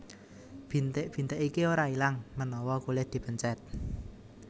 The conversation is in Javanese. Bintik bintik iki ora ilang menawa kulit dipencet